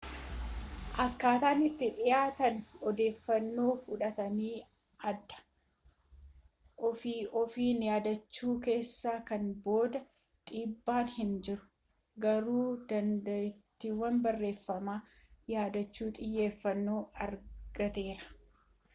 akkaataan itti dhiyaatanii odeeffannoo fudhatan adda ofii ofiin yaadachuu keessa kana booda dhiibbaan hin jiru garuu dandettiin barreeffama yaadachuu xiyyeffanoo argateera